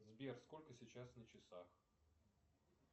сбер сколько сейчас на часах